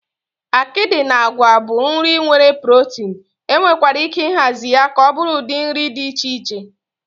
Akịdị na àgwà bụ nri nwere protin, enwekwara ike ịhazi ya ka ọ bụrụ ụdị nri dị iche iche.